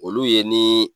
Olu ye ni